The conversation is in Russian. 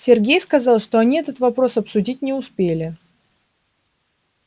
сергей сказал что они этот вопрос обсудить не успели